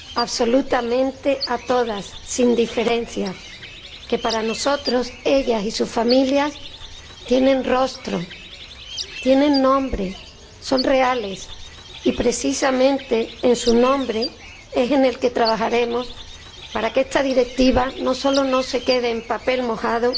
absolutamente a todas, sin diferencias, que para nosotros, ellas y sus familias tienen rostro, tienen nombre, son reales, y precisamente en su nombre trabajaremos para que esta Directiva no solo no se quede en papel mojado,